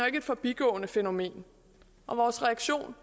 ikke et forbigående fænomen og vores reaktion